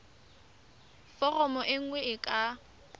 foromo e nngwe e ka